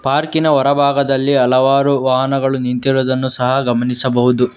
ಪಾರ್ಕಿ ನ ಹೊರ ಭಾಗದಲ್ಲಿ ವಾಹನಗಳು ನಿಂತಿರುದನ್ನು ಸಹ ಗಮನಿಸಬಹುದು.